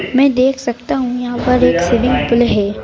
मैं देख सकता हूं यहां पर एक स्विमिंग पूल है।